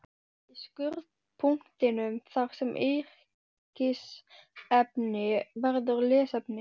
Í skurðpunktinum þar sem yrkisefni verður lesefni